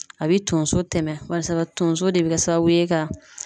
A bɛ tonso tɛmɛ barisa tonso de be kɛ sababu ye ka